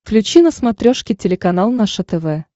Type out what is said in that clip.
включи на смотрешке телеканал наше тв